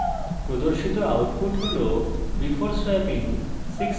প্রদর্শিত output হল before swapping 6 and 4